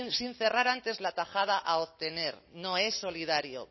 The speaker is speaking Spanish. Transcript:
sin cerrar antes la tajada a obtener no es solidario